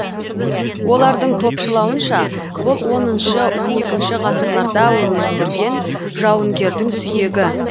олардың топшылауынша бұл оныншы он екінші ғасырларда өмір сүрген жауынгердің сүйегі